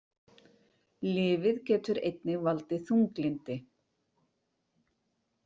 Lyfið getur einnig valdið þunglyndi.